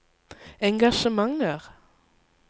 engasjementer